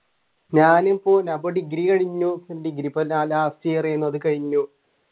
ഞാനിപ്പോ ഞാനിപ്പോ ഡിഗ്രി കഴിഞ്ഞു ഡിഗ്രി ഇപ്പൊ last year ആയിരുന്നു അത് കഴിഞ്ഞു